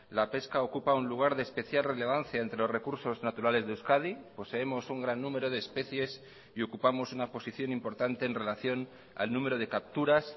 la pesca ocupa un lugar de especial relevancia entre los recursos naturales de euskadi poseemos un gran número de especies y ocupamos una posición importante en relación al número de capturas